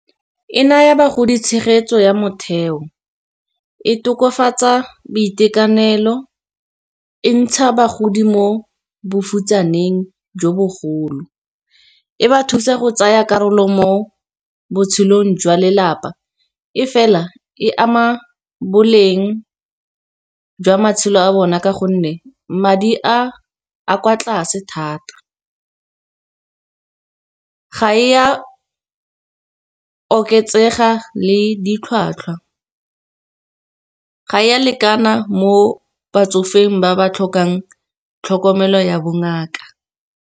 E naya bagodi tshegetso ya motheo e tokafatsa boitekanelo, e ntsha bagodi mo bofutsaneng jo bogolo. E ba thusa go tsaya karolo mo botshelong jwa lelapa, e fela e ama boleng jwa matshelo a bona, ka gonne madi a, a kwa tlase thata. Ga e ya oketsega le ditlhwatlhwa, ga e ya lekana mo batsofeng ba ba tlhokang tlhokomelo ya bongaka.